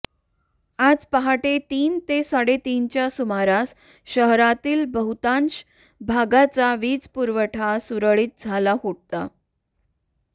आज पहाटे तीन ते साडेतीनच्या सुमारास शहरातील बहुतांश भागाचा वीजपुरवठा सुरळीत झाला होता